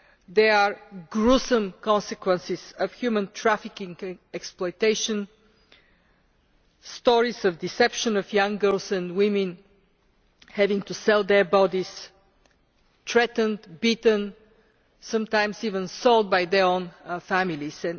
There are gruesome consequences of human trafficking and exploitation, stories of the deception of young girls and women having to sell their bodies, threatened, beaten, sometimes even sold by their own families.